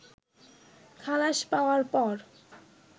খালাস পাওয়ার পর